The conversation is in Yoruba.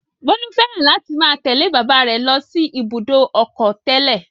Bólú fẹ́ràn láti máa tẹ̀lé bàbá rẹ̀ lọ sí Ibùdó-ọkọ̀ tẹ́lẹ̀.